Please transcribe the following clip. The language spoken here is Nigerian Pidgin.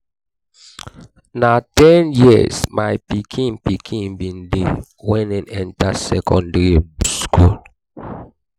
na ten years my pikin pikin bin dey wen e enta secondary um skool.